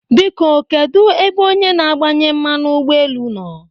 Biko kedụ ebe onye na-agbanye mmanụ ụgbọ elu nọ?